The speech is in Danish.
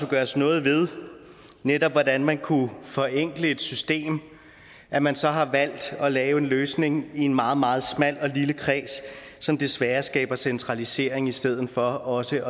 gøres noget ved netop hvordan man kunne forenkle et system at man så har valgt at lave en løsning i en meget meget smal og lille kreds som desværre skaber centralisering i stedet for også